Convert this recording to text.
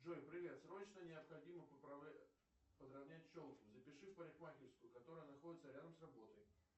джой привет срочно необходимо подравнять челку запиши в парикмахерскую которая находится рядом с работой